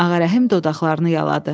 Ağarəhim dodaqlarını yaladı.